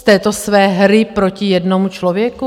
Z této své hry proti jednomu člověku?